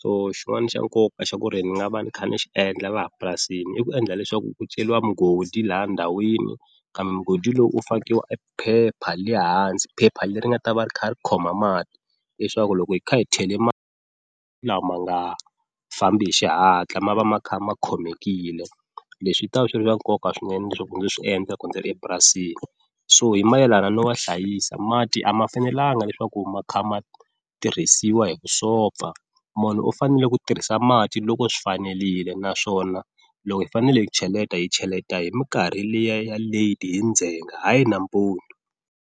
so xin'wani xa nkoka xa ku ri ni nga va ni kha ni xi endla laha purasini i ku endla leswaku ku celiwa mugodi laha ndhawini kambe mugodi lowu u fakiwa e phepha le hansi phepha leri nga ta va ri kha ri khoma mati leswaku loko hi kha hi chele la ma nga fambi hi xihatla ma va ma kha ma khomekile, leswi swi ta va swi ri na nkoka swinene leswaku ndzi swi endla loko ndzi ri epurasini, so hi mayelana no va hlayisa mati a ma fanelanga leswaku ma kha ma tirhisiwa hi vusopfa munhu u fanele ku tirhisa mati loko swi fanelile naswona loko hi fanele hi cheleta, hi cheleta hi minkarhi liya ya late hi ndzhenga hayi nampundu.